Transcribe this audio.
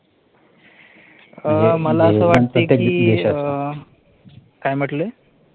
अं मला असं वाटते कि काय म्हटले?